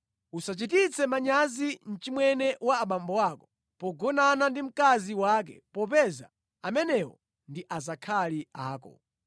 “ ‘Usachititse manyazi mchimwene wa abambo ako pogonana ndi mkazi wake popeza amenewo ndi azakhali ako.